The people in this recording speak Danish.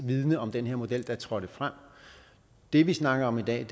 viden om den her model der trådte frem det vi snakker om i dag